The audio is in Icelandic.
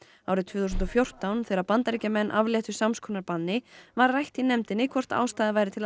árið tvö þúsund og fjórtán þegar Bandaríkjamenn afléttu sams konar banni var rætt í nefndinni hvort ástæða væri til að